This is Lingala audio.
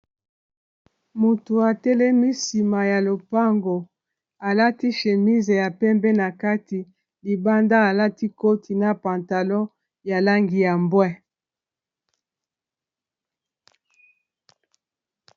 Moto atelemi nsima ya lopango alati chemise ya pembe na kati libanda alati koti na pantalon ya langi ya mbwe.